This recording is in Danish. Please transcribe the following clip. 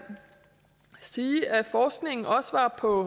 sige at forskningen også var på